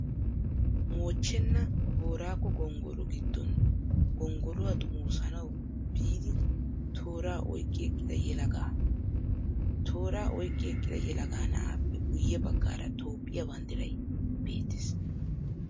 Moochchenaa booraago gonggolo giddon gonggoluwaa xomoosanawu biidi tooraa oyqqi eqqida yelagaa. Tooraa oyqqi eqqida yelaga na'aappe guyye baggaara Toophphiyaa banddirayi beettes.